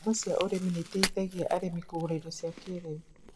Ngombo cia ũrĩmi nĩ iteithagia arĩmi kũgũra indo cia kĩĩrĩu.